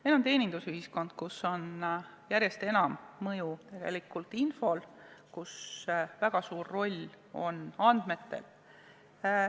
Meil on teenindusühiskond, kus on järjest enam mõju infol, kus väga suur roll on andmetel.